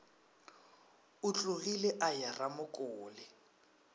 o tlogile a ya ramokole